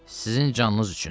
Sizin canınız üçün.